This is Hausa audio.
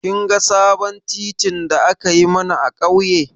Kin ga sabon titin da aka yi mana a ƙauye?